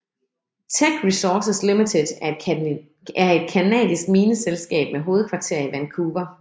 Teck Resources Limited er et canadisk mineselskab med hovedkvarter i Vancouver